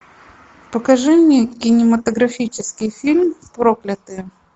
покажи мне кинематографический фильм проклятые